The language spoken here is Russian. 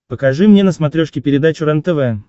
покажи мне на смотрешке передачу рентв